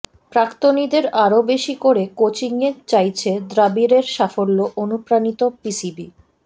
প্রাক্তনীদের আরও বেশি করে কোচিংয়ে চাইছে দ্রাবিড়ের সাফল্যে অনুপ্রাণিত পিসিবি